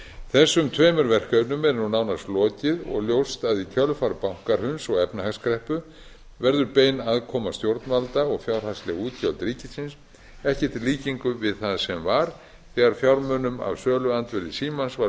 þessum tveimur verkefnum er nú nánast lokið og ljóst að í kjölfar bankahruns og efnahagskreppu verður bein aðkoma stjórnvalda og fjárhagsleg útgjöld ríkisins ekkert í líkingu við það sem var þegar fjármunum af söluandvirði símans